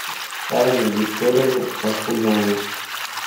анну викторовну ахунову